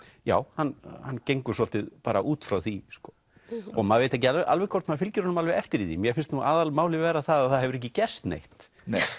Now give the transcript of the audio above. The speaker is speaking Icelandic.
já hann hann gengur svolítið út frá því maður veit ekki alveg hvort maður fylgir honum alveg eftir í því mér finnst aðal málið vera að það hefur ekki gerst neitt neitt